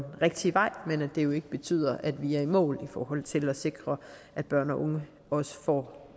rigtige vej men at det jo ikke betyder at vi er i mål i forhold til at sikre at børn og unge får